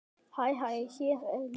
Hæ hér er ég.